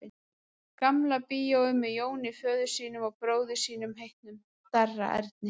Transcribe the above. Gamla bíói með Jóni föður sínum og bróður sínum heitnum, Darra Erni.